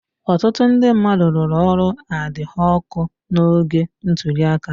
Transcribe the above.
Ọtụtụ ndị mmadụ rụrụ ọrụ adhọọkụ́ n'oge ntuli aka.